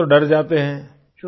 शुरू में तो डर जाते हैं